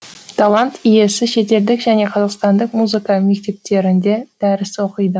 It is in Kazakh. талант иесі шетелдік және қазақстандық музыка мектептерінде дәріс оқиды